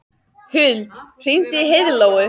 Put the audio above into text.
Huld, hringdu í Heiðlóu.